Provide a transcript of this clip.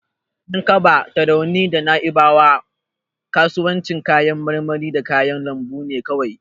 Yankaba, Tarauni da Na'ibawa ba kasuwannin kayan marmari da kayan lambu bane kawai.